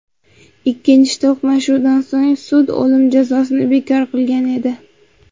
Ikkinchi to‘qnashuvdan so‘ng sud o‘lim jazosini bekor qilgan edi.